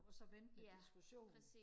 og så vente med diskussionen